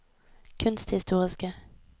kunsthistoriske